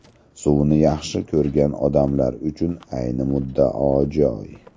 Suvni yaxshi ko‘rgan odamlar uchun ayni muddao joy.